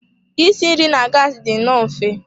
Isi nri na gassi dị nnọọ mfe.